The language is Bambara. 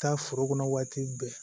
Taa foro kɔnɔ waati bɛɛ